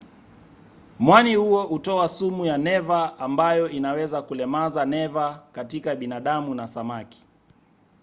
mwani huo hutoa sumu ya neva ambayo inaweza kulemaza neva katika binadamu na samaki